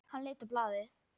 Hann leit á blaðið.